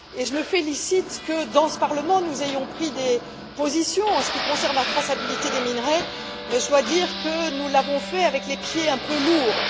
Je me félicite que, dans ce Parlement, nous ayons pris des positions en ce qui concerne la traçabilité des minerais mais je dois dire que nous l'avons fait en traînant quelque peu les pieds.